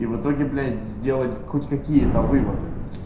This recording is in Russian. и в итоге блять сделать хоть какие-то выводы